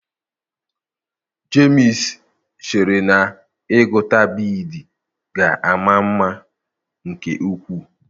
Jemsi chere na ịgụta biidii ga-ama mma nke ukwuu